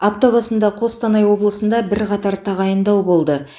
апта басында қостанай облысында бірқатар тағайындау болды